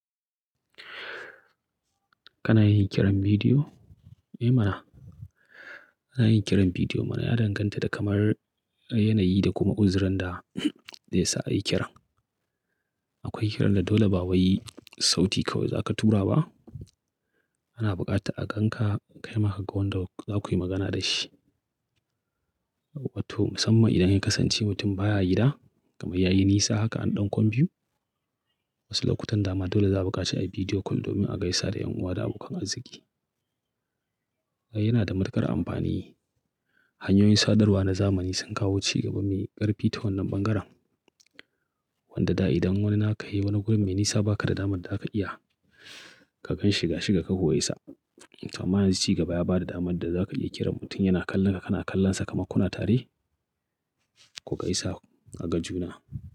Kana yin kiran bidiyo? Eh mana. Ana yin kiran bidiyo mana ya danganta da kamar yanayi da kuma uzirin da zai sa a yi kiran. Akwai kiran da dole ba waye sauti ka zaka tura ba. Ana bukata a gan ka, a kai maka gawan da za ku yi magana da shi. Wato musamman idan ya kasance mutum baya gida kamar ya yi nisa haka an ɗan kwan biyu. Wasu lokutan dama dole za a buƙaci a yi video call domin a gaisa da ƴan uwa da abokan arziki. Yana da matuƙar amfani. Hanyoyin sadarwa na zamani sun kawo ci gaba mai ƙarfi ta wannan ɓangaren. Wanda da idan wani aka yi wani guri mai nisa baka da damar da aka iya ka gan shiga shiga ka ho isa. Kamar yanzu ci gaba ya ba da damar da za ka iya kiran mutum yana kallon ka, kana kallon sa, kamankuna tare ku gaisa a gajuna.